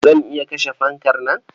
Zan iya kashe fankar nan.